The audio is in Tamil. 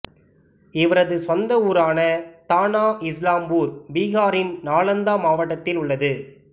இவரது சொந்த ஊரான தானா இஸ்லாம்பூர் பீகாரின் நாலந்தா மாவட்டத்தில் உள்ளது